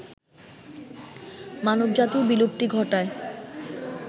মানবজাতির বিলুপ্তি ঘটায়